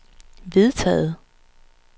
vedtaget